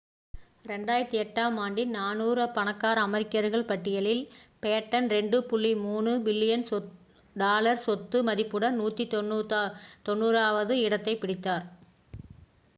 2008ஆம் ஆண்டின் 400 பணக்கார அமெரிக்கர்கள் பட்டியலில் பேட்டன் $2.3 பில்லியன் சொத்து மதிப்புடன் 190வது இடத்தைப் பிடித்தார்